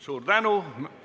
Suur tänu!